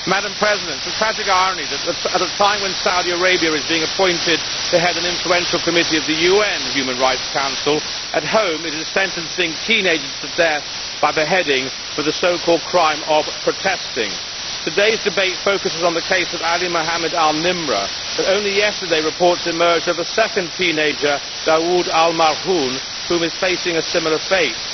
Madam President, it is a tragic irony that, at a time when Saudi Arabia is being appointed to head an influential committee of the UN Human Rights Council, at home it is sentencing teenagers to death by beheading for the so called crime of protesting. Today's debate focuses on the case of Ali Mohammed al Nimr, but only yesterday reports emerged of a second teenager, Dawood al Marhoon, who is facing a similar fate.